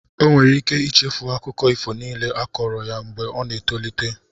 Ọ nwere ike ichefu akụkọ ifo niile a kọọrọ ya mgbe ọ na-etolite.